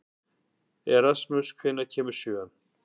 Erasmus, hvenær kemur sjöan?